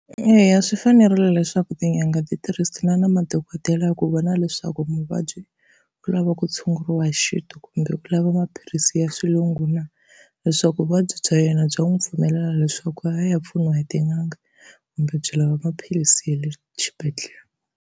Eya, swi fanerile leswaku tin'anga ti tirhisana na madokodela ku vona leswaku muvabyi u lava ku tshunguriwa hi xintu kumbe ku lava maphilisi ya xilungu na, leswaku vuvabyi bya yena bya n'wi pfumelela leswaku a ya pfuniwa hi tin'anga kumbe byi lava maphilisi ya le xibedhlele.